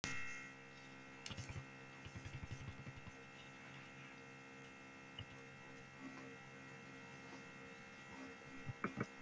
Sunna Karen: Hvernig hefur fólk það annars?